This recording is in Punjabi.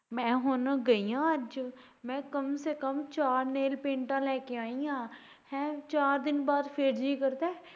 ਮੈਂ ਹੁਣ ਗਈ ਆ ਅੱਜ ਮੈਂ ਕਮ ਸੇ ਕਮ ਚਾਰ nail paint ਲੈ ਕੇ ਆਈ ਆਂ ਹੈ ਚਾਰ ਦਿਨ ਬਾਦ ਫੇਰ ਜੀਅ ਕਰਦਾ ਐ?